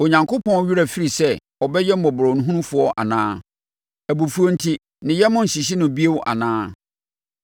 Onyankopɔn werɛ afiri sɛ ɔbɛyɛ mmɔborɔhunufoɔ anaa? Abufuo enti ne yam nhyehye no bio anaa?”